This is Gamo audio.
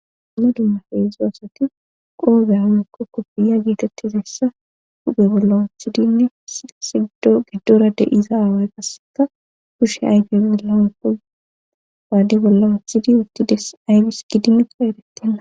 Umna dumma feedzo asati qoobey wekkokko fiya geetettizessa guphe bolla wuthidinne sigdo geddora de7iza aaway qaseka kushshe ayfey bolla uppo baade bolla wuthidi wuttides aybis gidimekko erettenna